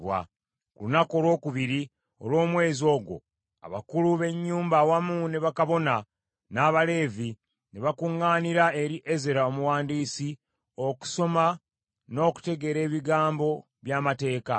Ku lunaku olwokubiri olw’omwezi ogwo, abakulu b’ennyumba awamu ne bakabona n’Abaleevi, ne bakuŋŋaanira eri Ezera omuwandiisi okusoma n’okutegeera ebigambo by’Amateeka.